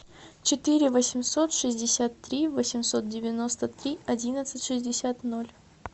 четыре восемьсот шестьдесят три восемьсот девяносто три одиннадцать шестьдесят ноль